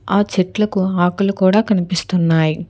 ఆ చెట్లకు ఆకులు కూడా కనిపిస్తున్నాయి.